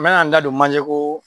N bɛ na n da don manje koo